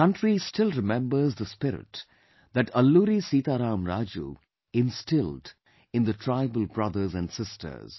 The country still remembers the spirit that Alluri Sitaram Raju instilled in the tribal brothers and sisters